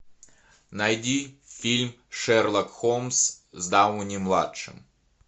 найди фильм шерлок холмс с дауни младшим